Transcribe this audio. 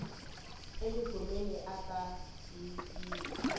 e mungomeni aka ha yiwi